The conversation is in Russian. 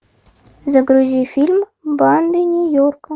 загрузи фильм банды нью йорка